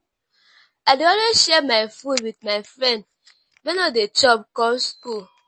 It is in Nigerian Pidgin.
i dey always share my food wit my friend wey no dey chop come skool.